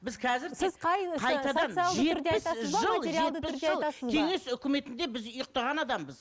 кеңес өкіметінде біз ұйықтаған адамбыз